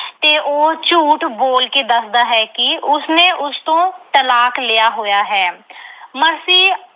ਤੇ ਉਹ ਝੂਠ ਬੋਲ ਕੇ ਦੱਸਦਾ ਹੈ ਕਿ ਉਸਨੇ ਉਸ ਤੋਂ ਤਲਾਕ ਲਿਆ ਹੋਇਆ ਹੈ। ਮਰਸੀ